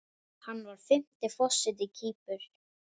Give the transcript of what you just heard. Hann var fimmti forseti Kýpur.